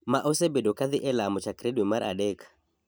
ma osebedo ka dhi e lamo chakore dwe mar adek,